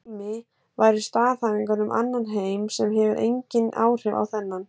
Dæmi væru staðhæfingar um annan heim sem hefur engin áhrif á þennan.